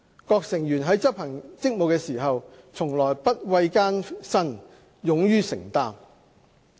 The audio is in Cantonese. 各成員在執行職務時，從來不畏艱辛，勇於承擔。